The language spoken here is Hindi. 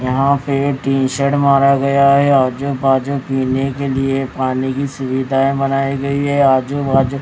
यहां पे टीन शेड मारा गया है आजू बाजू पीने के लिए पानी की सुविधायें बनाई गई है आजू बाजू--